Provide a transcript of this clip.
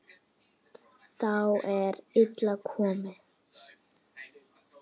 Þá er illa komið.